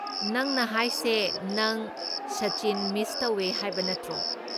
ꯅꯪꯅ ꯍꯥꯏꯁꯦ ꯅꯪ ꯁꯆꯤꯟ ꯃꯤꯁ ꯇꯧꯋꯦ ꯍꯥꯏꯕ ꯅꯠꯇ꯭ꯔꯣ?